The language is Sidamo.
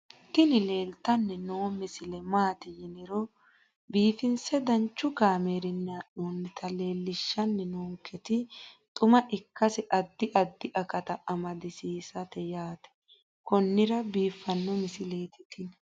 tini leeltanni noo misile maaati yiniro biifinse danchu kaamerinni haa'noonnita leellishshanni nonketi xuma ikkase addi addi akata amadaseeti yaate konnira biiffanno misileeti tini